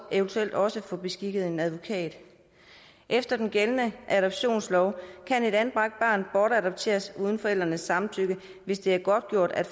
eventuelt også få beskikket en advokat efter den gældende adoptionslov kan et anbragt barn bortadopteres uden forældrenes samtykke hvis det er godtgjort at